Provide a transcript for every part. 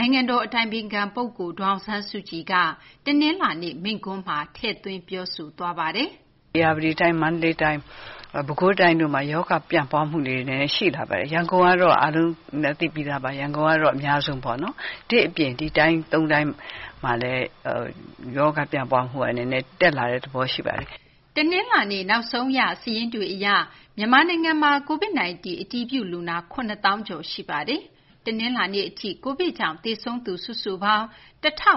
နိုင်ငံတော် အတိုင်ပင်ခံ ပုဂ္ဂိုလ် ဒေါ်အောင်ဆန်းစုကြည်က တနလာၤနေ့ မိန့်ခွန်းမှာ သတိပေးပြောကြားခဲ့ပါတယ်။ “ ဧရာဝတီတိုင်း၊ မန္တလေးတိုင်း၊ ပဲခူးတိုင်းတို့မှာ ရောဂါ ပြန့်ပွားမှုလေးတွေ နည်းနည်း ရှိလာပါတယ်။ ရန်ကုန် ကတော့ အားလုံးလည်း သိပြီးသားပါ။ ရန်ကုန်ကတော့ အများဆုံးပေါ့နော်။ ဒီ့အပြင် ဒီ တိုင်း သုံးတိုင်းမှာလည်း ရောဂါ ပျံ့ပွားမှုက နည်းနည်း တက်လာတဲ့ သဘောရှိပါတယ်။” တနလာၤနေ့ နောက်ဆုံးရ စာရင်းတွေ အရ မြန်မာနိုင်ငံမှာ COVID-19 အတည်ပြု လူနာ ၇၀,၀၀၀ ကျော် ရှိနေပါတယ်။ တနလာၤနေ့ အထိ COVID ကြောင့် သေဆုံးသူ စုစုပေါင်း ၁၅၉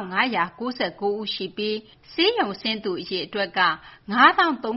၉ ဦးရှိပြီး ဆေးရုံဆင်းသူ အရေအတွက်က ၅၃,၂၉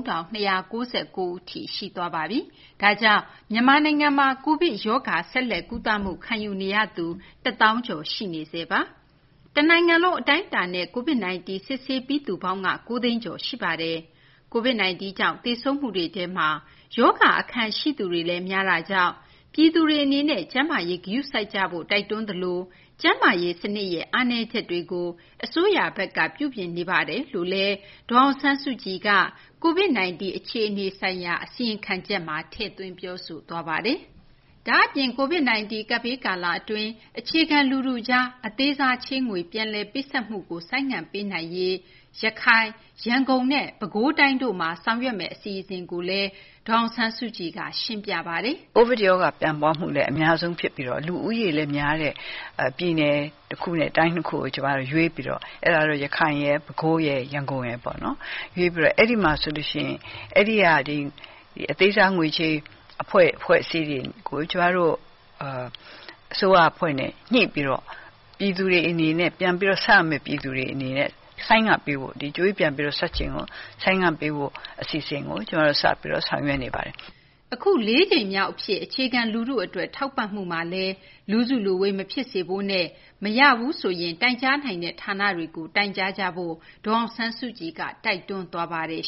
၉ ဦးထိ ရှိသွားပါပြီ။ ဒါကြောင့် မြန်မာနိုင်ငံမှာ COVID ရောဂါ ဆက်လက် ကုသမှု ခံယူနေရသူ ၁၀,၀၀၀ ကျော် ရှိပါတယ်။ တနိုင်ငံလုံး အတိုင်းအတာနဲ့ COVID 19 စစ်ဆေးပြီးသူပေါင်းက ၉ သိန်းကျော် ရှိပါတယ်။ COVID 19 ကြောင့် သေဆုံးမှုတွေထဲမှာ ရောဂါ အခံရှိသူတွေလည်း များတာကြောင့် ပြည်သူတွေ အနေနဲ့ ကျန်းမာရေး ဂရုစိုက်ကြဖို့ တိုက်တွန်းသလို ကျန်းမာရေး စနစ်ရဲ့ အားနည်းချက်တွေကို အစိုးရဘက်က ပြုပြင်နေကြောင်းလည်း ဒေါ်အောင်ဆန်းစုကြည်က COVID 19 အခြေအနေ ဆိုင်ရာ အစီရင်ခံချက်မှာ ထည့်သွင်း ပြောဆိုသွားပါတယ်။ ဒါ့အပြင် COVID 19 ကပ်ဘေး ကာလ အတွင်း အခြေခံ လူထုကြား အသေးစား ချေးငွေ ပြန်လည် ပေးဆပ်မှုကို ဆိုင်းငံ့ပေးနိုင်ရေး ရခိုင်၊ ရန်ကုန်နဲ့ ပဲခူးတိုင်းတို့မှာ ဆောင်ရွက်မယ့် အစီအစဉ်ကိုလည်း ဒေါ်အောင်ဆန်းစုကြည်က ရှင်းပြပါတယ်။ “ COVID ရောဂါ ပြန့်ပွားမှုလည်း အများဆုံး ဖြစ်ပြီး လူဦးရေလည်း များတဲ့ ပြည်နယ် တခုနဲ့ တိုင်း ၂ ခုကို ကျမတို့ ရွေးပြီးတော့ အဲဒါတော့ ရန်ကုန်ရယ်၊ ပဲခူးရယ်၊ ရန်ကုန်ရယ်ပေါ့နော်။ အဲဒီက အသေးစား ငွေချေး အဖွဲ့အစည်းတွေကို ကျမတို့ အစိုးရ အဖွဲ့နဲ့ ညှိပြီးတော့ ပြန်ပြီး ဆပ်ရမယ့် ပြည်သူတွေ အနေနဲ့ ဆိုင်းငံ့ပေးဖို့၊ ဒီ ကြွေးပြန်ဆပ်ချိန်ကို ဆိုင်းငံ့ပေးဖို့ အစီအစဉ်ကို ကျမတို့ စပြီးတော့ ဆောင်ရွက်နေပါတယ်။” အခု လေးကြိမ်မြောက် အဖြစ် အခြေခံ လူထု အတွက် ထောက်ပံ့မှုမှာလည်း လူစုလူဝေး မဖြစ်စေဖို့နဲ့ မရရင် တိုင်ကြားနိုင်တဲ့ ဌာနတွေကို တိုင်ကြားကြဖို့လည်း ဒေါ်အောင်ဆန်းစုကြည်က တိုက်တွန်းသွားပါတယ်